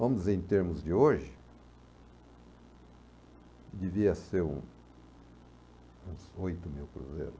Vamos dizer, em termos de hoje, devia ser um uns oito mil cruzeiros.